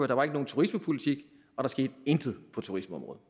der var ikke nogen turismepolitik og der skete intet på turismeområdet